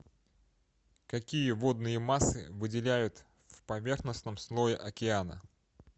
какие водные массы выделяют в поверхностном слое океана